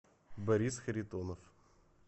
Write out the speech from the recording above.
борис харитонов